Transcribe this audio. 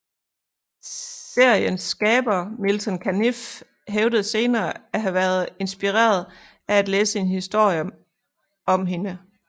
Seriens skaberen Milton Caniff hævdede senere at have været inspireret af at læse en historie om hende